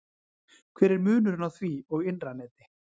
hver er munurinn á því og innra neti